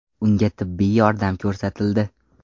Unga tibbiy yordam ko‘rsatildi.